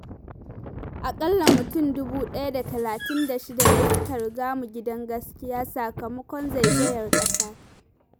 Aƙalla mutum dubu ɗaya da talatin da shida ne suka riga mu gidan gaskiya sakamakon zezayar ƙasa.